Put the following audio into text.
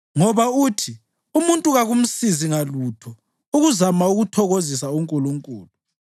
Ngoba uthi, ‘Umuntu kakumsizi ngalutho ukuzama ukuthokozisa uNkulunkulu.’